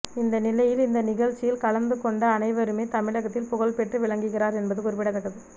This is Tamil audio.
இந்த நிலையில் இந்த நிகழ்ச்சியில் கலந்து கொண்ட அனைவருமே தமிழகத்தில் புகழ் பெற்று விளங்குகிறார் என்பது குறிப்பிடத்தக்கது